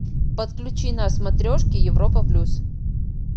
подключи на смотрешке европа плюс